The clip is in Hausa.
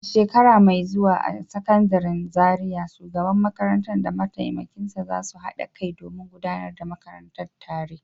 A shekara mai zuwa a Sakandaren Zariya, shugaban makarantar da mataimakinsa za su haɗa kai domin gudanar da makarantar tare.